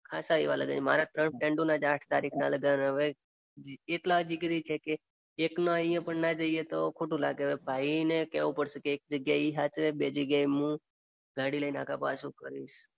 ખાસા એવા લગન છે મારા ત્રોણ ફ્રેન્ડ્સ ના જ આંઠ તારીખનાં લગન હવે, એટલા જિગરી છે કે એકના અહિયાં ના જઈએ તો ખોટું લાગે હવે, ભાઈને કેવુ પડસે કે એક જગ્યાએ એ સાચવે બે જગ્યાએ હું ગાડી લઈને આઘા પાછો કરીશ.